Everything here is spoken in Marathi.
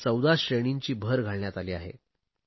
त्यात 14 श्रेणींची भर घालण्यात आली आहे